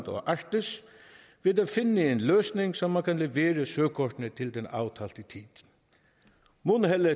og arktis ved at finde en løsning så man kan levere søkortene til den aftalte tid mundheldet